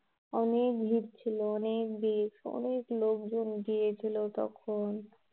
অনেক ভীড় ছিলো অনেক ভীড়, অনেক লোকজন গিয়েছিলো তখন